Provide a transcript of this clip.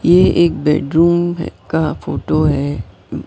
ये एक बेडरूम का फोटो है।